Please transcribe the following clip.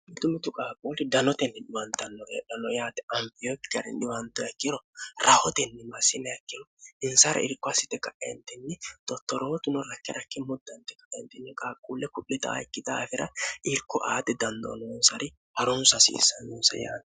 mitu mitu qaaqquuli danotenni diwantannoreedhanno yaate ampiyoki gari dhiwanto ekkiro rahotenni ma simeekkino insara irko hsite ka'entinni dottorohotu no rakkirakki muddanti ka'entinni qaaqquulle ku'li daa ikki daafira irko aaxi dandoonoonsari harunsa hasiissannoonsa yaanni